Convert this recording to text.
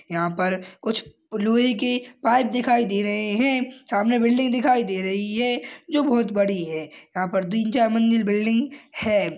यहां पर कुछ लोहे के पाइप दिखाई दे रहे हैं सामने बिल्डिंग दिखाई दे रही है जो बहुत बड़ी है यहां पर तीन चार मंजिल बिल्डिंग है।